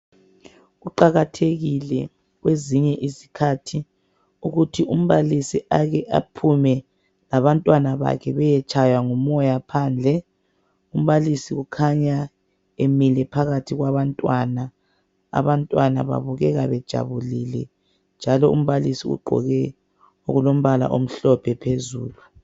Kuqakathekile kwezinye izikhathi ukuthi umbalisi ake aphume labantwana bakhe beyetshaywa ngumoya phandle. Umbalisi ukhanya emile phakathi kwabantwana. Abantwana babukeka bejabulile njalo umbalisi ugqoke okulombala omhlophe phezulu.